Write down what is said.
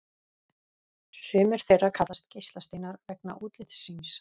Sumir þeirra kallast geislasteinar vegna útlits síns.